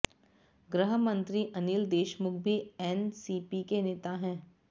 गृह मंत्री अनिल देशमुख भी एनसीपी के नेता हैं